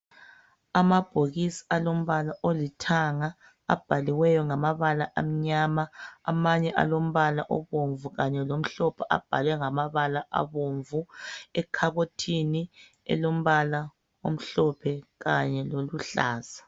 Amabhokisi alombala olithanga abhaliweyo ngamabala amnyama. Amanye alombala obomvu kanye lomhlophe, abhalwe ngamabala abomvu. Ekhabothini amhlophe kanye loluhlaza.